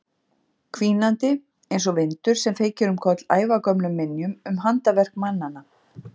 Hvínandi einsog vindur sem feykir um koll ævagömlum minjum um handaverk mannanna.